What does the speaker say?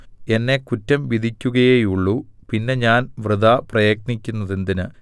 എന്നെ കുറ്റം വിധിക്കുകയേയുള്ളു പിന്നെ ഞാൻ വൃഥാ പ്രയത്നിക്കുന്നതെന്തിന്